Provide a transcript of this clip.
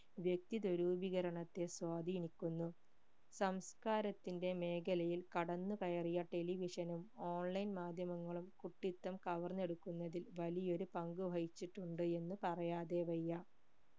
വ്യക്തിധ്വരൂപീകരണത്തെ സ്വാധീനിക്കുന്നു സംസ്ക്കാരത്തിന്റെ മേഖലയിൽ കടന്നു കയറിയ television നും online മാധ്യമങ്ങളും കുട്ടിത്തം കവർന്നെടുക്കുന്നതിൽ വലിയൊരു പങ്ക് വഹിച്ചിട്ടുണ്ട് എന്ന് പറയാതെ വയ്യ